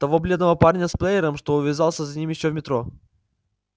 того бледного парня с плеером что увязался за ним ещё в метро